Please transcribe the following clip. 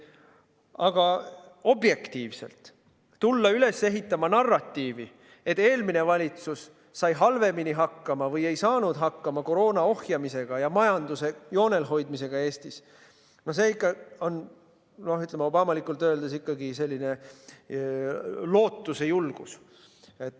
Aga objektiivselt: tulla üles ehitama narratiivi, et eelmine valitsus sai halvemini hakkama või ei saanud hakkama koroona ohjamisega ja Eesti majanduse joonel hoidmisega – see on ikka, noh, obamalikult öeldes, selline lootuse julgus.